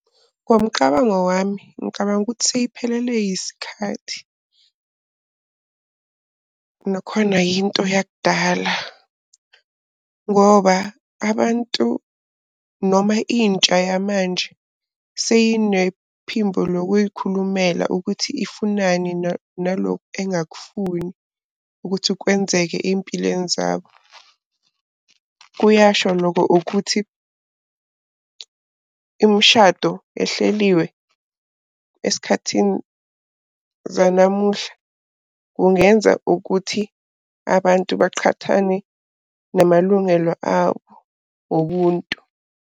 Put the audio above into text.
Ngomqabango wami, ngiqabanga ukuthi seyiphelelwe yisikhathi, nakhona yinto yakudala. Ngoba abantu noma intsha yamanje seyinephimbo lokuyikhulumela ukuthi ifunani nalokhu engakufuni ukuthi kwenzeke ey'mpilweni zabo. Kuyasho lokho ukuthi imishado ehleliwe esikhathini zanamuhla kungenza ukuthi abantu baqhathane namalungelo abo wobuntu.